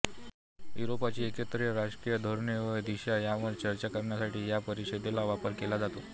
युरोपाची एकत्रित राजकीय धोरणे व दिशा ह्यांवर चर्चा करण्यासाठी ह्या परिषदेचा वापर केला जातो